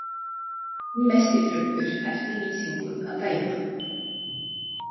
Hinn mesti drumbur eftir lýsingum að dæma.